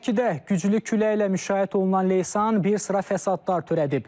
Şəkidə güclü küləklə müşayiət olunan leysan bir sıra fəsadlar törədib.